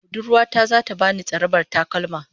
Budurwa ta zata bani tsarabar takalma